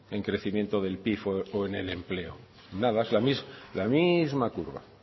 en crecimiento del pib o en el empleo nada la misma curva